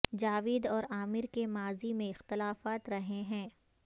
جاوید اور عامر کے ماضی میں اختلافات رہے ہیں